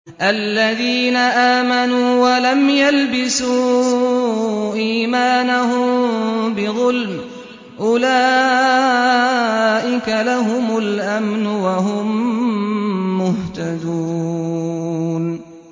الَّذِينَ آمَنُوا وَلَمْ يَلْبِسُوا إِيمَانَهُم بِظُلْمٍ أُولَٰئِكَ لَهُمُ الْأَمْنُ وَهُم مُّهْتَدُونَ